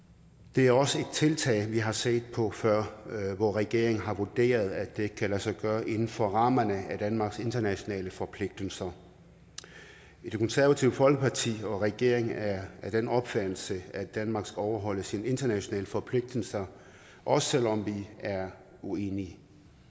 det er også et tiltag vi har set på før hvor regeringen har vurderet at det ikke kan lade sig gøre inden for rammerne af danmarks internationale forpligtelser det konservative folkeparti og regeringen er af den opfattelse at danmark skal overholde sine internationale forpligtelser også selv om vi er uenige